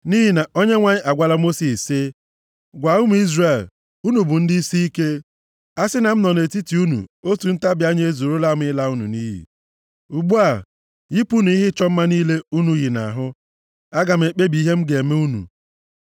Nʼihi na Onyenwe anyị agwala Mosis sị, “Gwa ụmụ Izrel, ‘Unu bụ ndị isiike. A sị na m nọ nʼetiti unu, otu ntabi anya ezuorola m ịla unu nʼiyi. Ugbu a, yipụnụ ihe ịchọ mma niile unu yi nʼahụ, aga m ekpebi ihe m ga-eme unu.’ ”